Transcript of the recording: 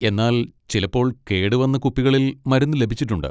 എന്നാൽ ചിലപ്പോൾ കേടുവന്ന കുപ്പികളിൽ മരുന്ന് ലഭിച്ചിട്ടുണ്ട്.